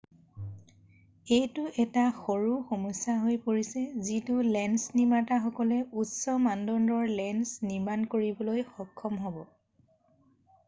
এইটো এটা সৰু সমস্যা হৈ পৰিছে যিহেতু লেন্স নিৰ্মাতা সকলে উচ্চ মানদণ্ডৰ লেন্স নিৰ্মাণ কৰিবলৈ সক্ষম হৈছে